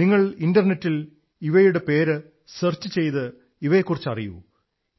നിങ്ങൾ ഇന്റർനെറ്റിൽ ഇവയുടെ പേർ സെർച്ച് ചെയ്ത് ഇവയെക്കുറിച്ചറിയൂ